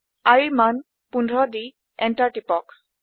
iৰ মান 15 দি এন্টাৰ টিপক